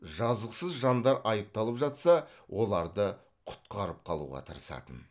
жазықсыз жандар айыпталып жатса оларды құтқарып қалуға тырысатын